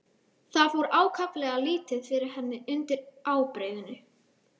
Það fór ákaflega lítið fyrir henni undir ábreiðunni.